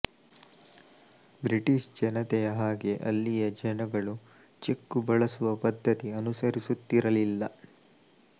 British ಜನತೆಯ ಹಾಗೆ ಅಲ್ಲಿಯ ಜನಗಳು ಚೆಕ್ಕು ಬಳಸುವ ಪದ್ಧತಿ ಅನುಸರಿಸುತ್ತಿರಲಿಲ್ಲ